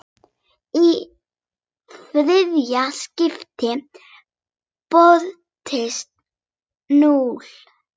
Í þriðja skiptið birtist núll.